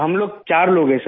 हम लोग चार लोग हैं सर